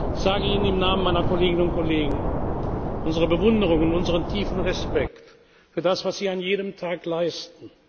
Ich sage Ihnen im Namen meiner Kolleginnen und Kollegen unsere Bewunderung und unseren tiefen Respekt für das, was Sie an jedem Tag leisten.